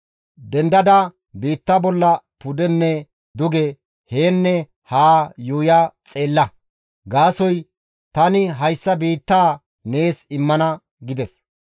Dendada biitta bolla pudenne duge, yaanne ha yuuya xeella; gaasoykka tani hayssa biittaa nees immana» gides.